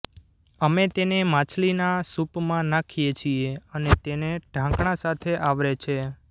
અમે તેને માછલીના સૂપમાં નાખીએ છીએ અને તેને ઢાંકણાં સાથે આવરે છે